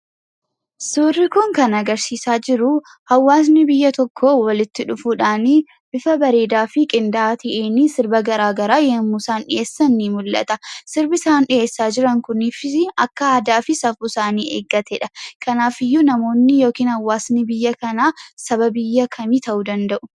Suurri kun kan agarsiisaa jiruu hawaasni biyya tokkoo walitti dhufuudhaanii bifa bareedaa fi qindaa'aa ta'eenii sirba garaa garaa yemmuu isaan dhiheessan ni mul'ata. Sirbi isaan dhiheessaa jiran kuniifisii akka aadaa fi safuu isaanii eeggatedha. Kanaafiyyuu namoonni yookiin hawaasni biyya kanaa saba biyya kamii ta'uu danda'u?